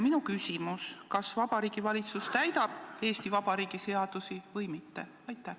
Minu küsimus: kas Vabariigi Valitsus täidab Eesti Vabariigi seadusi või mitte?